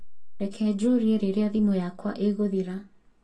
reke njũũrie rĩrĩa thimũ yakwa ĩgũthira